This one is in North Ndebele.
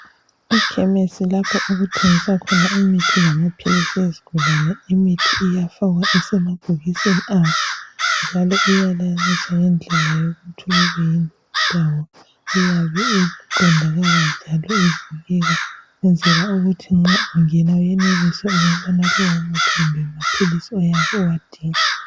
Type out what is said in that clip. EKhemisi lapho okuthengiswa khona imithi lamaphilisi ezigulane imithi iyafakwa isemabhokisini awo njalo iyalayiniswa ngendlela yokuthi kube yindawo eyabe iqondakala njalo ibukeka ukwenzela ukuthi nxa ungena uyenelise ukuthola lowo muthi kumbe amaphilisi oyabe uwadinga.